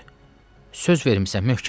Söz vermisən möhkəm dur.